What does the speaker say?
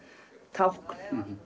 tákn